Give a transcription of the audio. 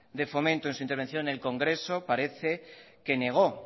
de fomento en su intervención en el congreso parece que negó